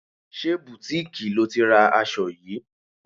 Ṣé butiiki lo ti ra aṣọ yìí?